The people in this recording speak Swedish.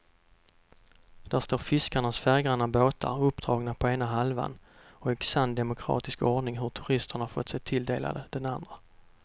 Där står fiskarnas färggranna båtar uppdragna på ena halvan och i sann demokratisk ordning har turisterna fått sig tilldelade den andra.